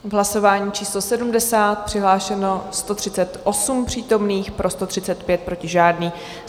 V hlasování číslo 70 přihlášeno 138 přítomných, pro 135, proti žádný.